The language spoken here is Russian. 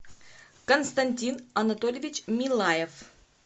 константин анатольевич милаев